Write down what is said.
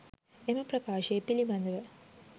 එම ප්‍රකාශය පිළිබඳව